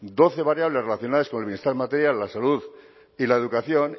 doce variables relacionadas con el bienestar material la salud y la educación